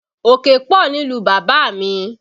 Òkè pọ̀ nílùú bàbá mi